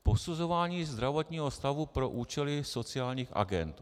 Posuzování zdravotního stavu pro účely sociálních agend.